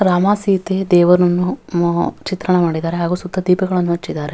ರಾಮ ಸೀತ ದೇವರು ಅ ಚಿತ್ರ ಮಾಡಿದ್ದಾರೆ ಹಾಗು ಸುತ್ತ ದೀಪಗಳನ್ನು ಹಚ್ಚಿದ್ದಾರೆ.